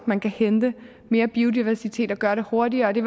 man kan hente mere biodiversitet og gøre det hurtigere det